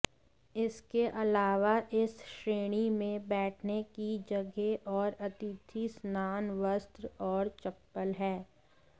इसके अलावा इस श्रेणी में बैठने की जगह और अतिथि स्नान वस्त्र और चप्पल है